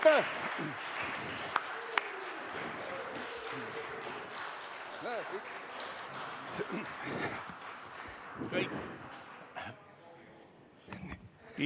Kohtumiseni!